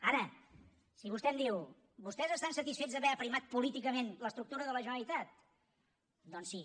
ara si vostè em diu vostès estan satisfets d’haver aprimat políticament l’estructura de la generalitat doncs sí